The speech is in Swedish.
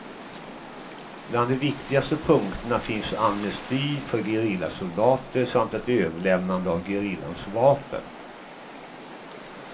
Bland de viktigaste punkterna finns amnesti för gerillasoldater samt ett överlämnande av gerillans vapen.